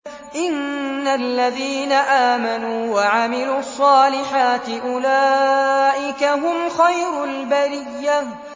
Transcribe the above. إِنَّ الَّذِينَ آمَنُوا وَعَمِلُوا الصَّالِحَاتِ أُولَٰئِكَ هُمْ خَيْرُ الْبَرِيَّةِ